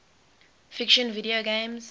fiction video games